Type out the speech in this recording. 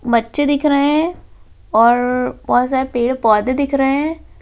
बच्चे दिख रहे हैं और बहुत सारे पेड़-पौधे दिख रहे हैं।